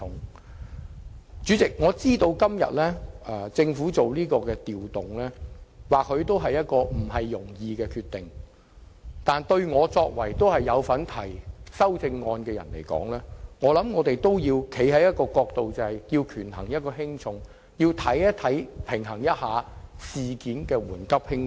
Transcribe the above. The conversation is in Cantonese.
代理主席，我知道政府作這調動也不是容易的決定，但作為有份提出修正案的議員，我認為有必要從權衡輕重的角度出發，釐定事情的緩急輕重。